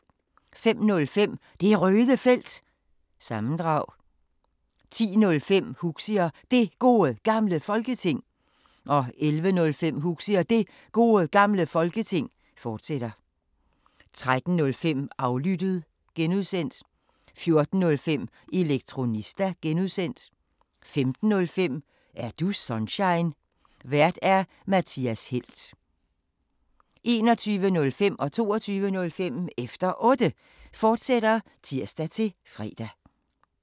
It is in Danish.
05:05: Det Røde Felt – sammendrag 10:05: Huxi og Det Gode Gamle Folketing 11:05: Huxi og Det Gode Gamle Folketing, fortsat 13:05: Aflyttet (G) 14:05: Elektronista (G) 15:05: Er du Sunshine? Vært:Mathias Helt 21:05: Efter Otte, fortsat (tir-fre) 22:05: Efter Otte, fortsat (tir-fre)